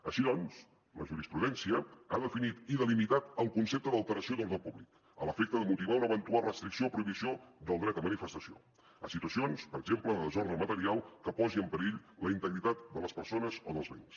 així doncs la jurisprudència ha definit i delimitat el concepte d’ alteració d’ordre públic a l’efecte de motivar una eventual restricció o prohibició del dret a manifestació a situacions per exemple de desordre material que posin en perill la integritat de les persones o dels béns